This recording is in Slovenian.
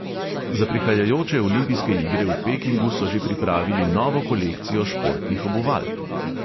Za prihajajoče olimpijske igre v pekingu so že pripravili novo kolekcijo športnih obuval.